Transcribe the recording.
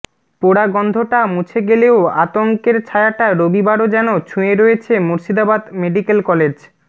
পোড়া গন্ধটা মুছে গেলেও আতঙ্কের ছায়াটা রবিবারও যেন ছুঁয়ে রয়েছে মুর্শিদাবাদ মেডিক্যাল কলেজ